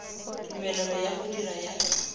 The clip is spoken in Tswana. tumelelo ya go dira ya